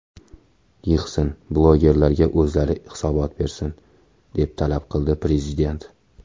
Yig‘sin, blogerlarga o‘zlari hisobot bersin”, deb talab qildi prezident .